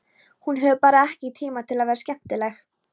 Hún hefur bara ekki tíma til að vera skemmtileg.